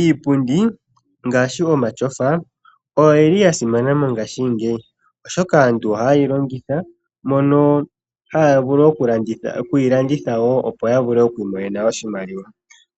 Iipundi ngaashi omatyofa oya simana mongaashingeyi, oshoka aantu ohaye yi longitha mono haya vulu okuyi landitha, opo yi imonene oshimaliwa.